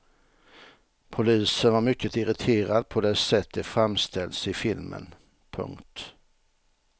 Polisen var mycket irriterad på det sätt de framställts i filmen. punkt